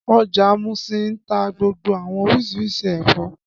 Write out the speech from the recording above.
Ọjà Muṣin ń tá gbogbo àwọn oríṣiríṣi ẹ̀fọ́